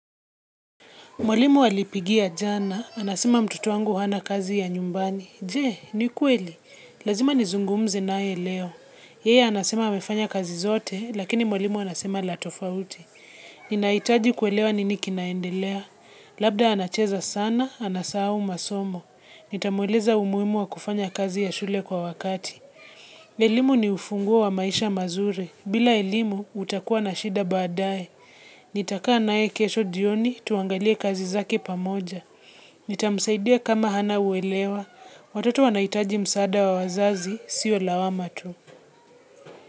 Mwalimu alipigia jana, anasema mtotoangu hana kazi ya nyumbani. Je, ni kweli. Lazima nizungumze nae leo. Yee anasema wamefanya kazi zote, lakini mwalimu anasema la tofauti. Ninaitaji kwelewa nini kinaendelea. Labda anacheza sana, anasau masomo. Nitamueleza umuimu wa kufanya kazi ya shule kwa wakati. Elimu ni ufunguo wa maisha mazuri. Bila ilimu, utakua na shida badae. Nitaka nae kesho jioni tuangalie kazi zake pamoja. Nitamsaidia kama hana uelewa. Watoto wanaitaji msaada wa wazazi, siyo lawama tu.